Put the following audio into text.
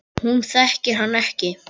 Hún þekkir hann ekki.